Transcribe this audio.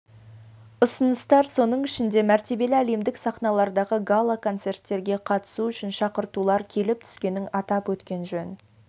ұсыныстар соның ішінде мәртебелі әлемдік сахналардағы гала-концерттерге қатысу үшін шақыртулар келіп түскенін атап өткен жөн